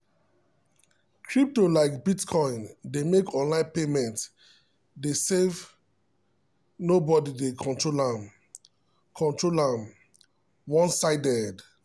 crypto like bitcoin dey make online payment dey save nobody dey control am control am one-sided.